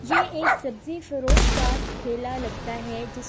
یہ ایک سبزی فروش کا تھیلا لگتھا ہے جسے